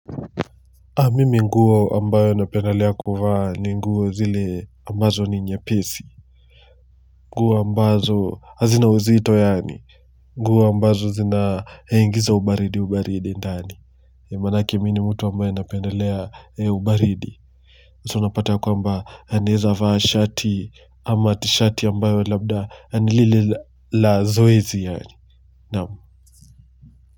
Mimi nguo ambayo napendelea kuvaa ni nguo zile ambazo ni nyepesi nguo ambazo hazina uzito yaani nguo ambazo zinaingiza ubaridi ubaridi ndani maanake mi ni mtu ambaye napendalea ubaridi so unapata ya kwamba naeza vaa shati ama tishati ambayo labda nilile la zoezi yaani naam.